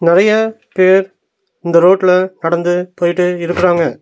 நெறையா பேர் இந்த ரோட்ல நடந்து போய்டு இருக்குறாங்க.